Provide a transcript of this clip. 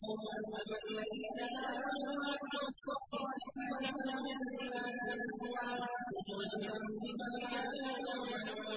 أَمَّا الَّذِينَ آمَنُوا وَعَمِلُوا الصَّالِحَاتِ فَلَهُمْ جَنَّاتُ الْمَأْوَىٰ نُزُلًا بِمَا كَانُوا يَعْمَلُونَ